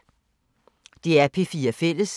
DR P4 Fælles